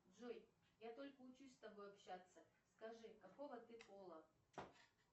джой я только учусь с тобой общаться скажи какого ты пола